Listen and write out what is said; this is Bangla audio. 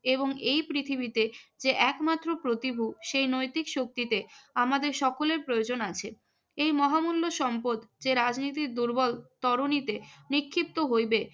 এবং এই পৃথিবীতে যে একমাত্র প্রতিভু, সেই নৈতিক শক্তিকে আমাদের সকলের প্রয়োজন আছে। এই মহামূল্য সম্পদ যে রাজনীতির দুর্বল তরণীতে নিক্ষিপ্ত হইবে